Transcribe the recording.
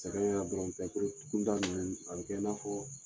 Sɛgɛn yɛrɛ dɔrɔn tɛ ninnu a bɛ kɛ i n'a fɔ.